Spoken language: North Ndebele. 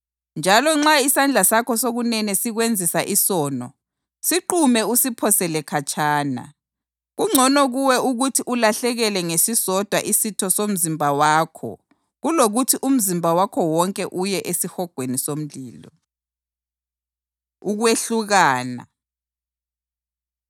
Njalo nxa isandla sakho sokunene sikwenzisa isono, siqume usiphosele khatshana. Kungcono kuwe ukuthi ulahlekelwe ngesisodwa isitho somzimba wakho kulokuthi umzimba wakho wonke uye esihogweni somlilo.” Ukwehlukana